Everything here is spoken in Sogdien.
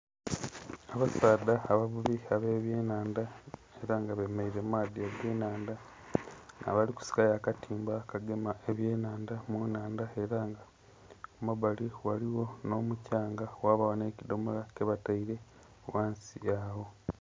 Abasaadha abavubi abe byenhandha nga ela bemeleila mu maadhi agenhandha abali ku sikayo akatimba akagema ebyenhandha mu nhandha, ela nga ku mabali ghaligho nhomukyanga ghabaagho nhe kidhomola kyebataile ghansi agho.